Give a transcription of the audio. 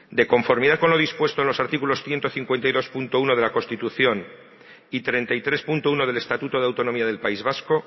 de conformidad con lo dispuesto en los artículos ciento cincuenta y dos punto uno de la constitución y treinta y tres punto uno del estatuto de autonomía del país vasco